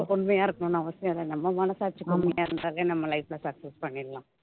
உண்மையா இருக்கணும்ன்னு அவசியம் இல்லை நம்ம மனசாட்சிக்கு உண்மையா இருந்தாவே நம்ம life அ success பண்ணிடலாம்